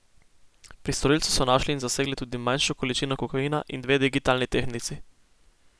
Pri storilcu so našli in zasegli tudi manjšo količino kokaina in dve digitalni tehtnici.